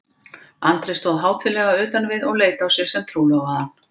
Andri stóð hátíðlega utan við og leit á sig sem trúlofaðan.